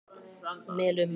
Melum